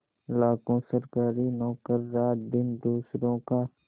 लाखों सरकारी नौकर रातदिन दूसरों का